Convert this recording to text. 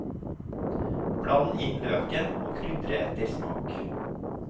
Bland inn løken og krydre etter smak.